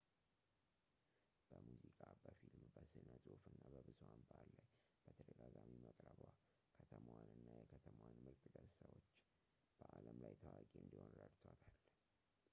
በሙዝቃ በፊልም በስነፅሁፍ እና በብዙሐን ባህል ላይ በተደጋጋሚ መቅረቧ ከተማዋንና የከተማዋን ምርጥ ገፅታዎች በአለም ላይ ታዋቂ እንዲሆን ረድቷታል